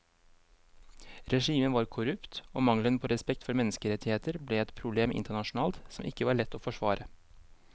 Regimet var korrupt og mangelen på respekt for menneskerettigheter ble et problem internasjonalt som ikke var lett å forsvare.